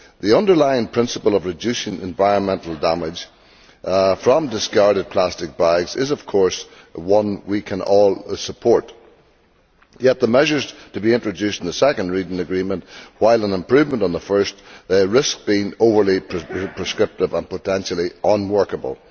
The underlying principle of reducing environmental damage from discarded plastic bags is, of course, one we can all support. Yet the measures to be introduced in the second reading agreement, while an improvement on the first, risk being overly prescriptive and potentially unworkable.